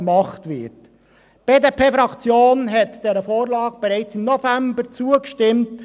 Die BDP-Fraktion hat dieser Vorlage bereits im November zugestimmt.